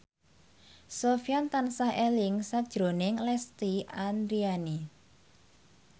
Sofyan tansah eling sakjroning Lesti Andryani